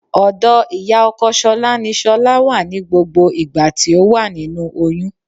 Ọ̀dọ̀ ìyá ọkọ ṣọlá ní ṣọlá wà ní gbogbo ìgbà tí ó wà nínú oyún